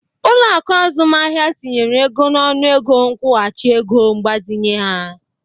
Ụlọaku azụmahịa tinyere ego n'ọnụ ego nkwuhachi ego mgbazinye ha.